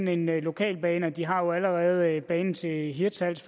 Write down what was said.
en lokalbane de har jo allerede forstår jeg en bane til hirtshals